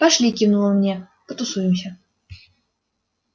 пошли кивнул он мне потусуемся